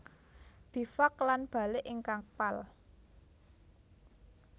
Bivak lan balik ing kapal